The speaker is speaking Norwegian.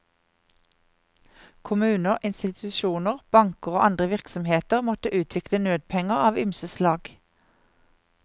Kommuner, institusjoner, banker og andre virksomheter måtte utvikle nødpenger av ymse slag.